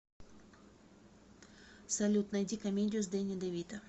салют найди комедию с дэнни девито